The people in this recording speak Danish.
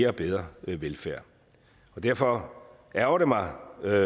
og bedre velfærd og derfor ærgrer det mig